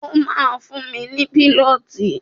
Ó ma fún mi ní pínọtì.